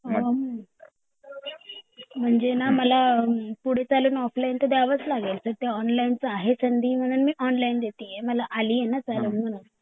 अ म्हणजे ंना मला पुढे चालून ऑफलाइन तर द्यावाच लागेल तर ते ऑनलाइन ची आहे संधि म्हणून मी ऑनलाइन देतीये. मला आलीये ना चालून म्हणून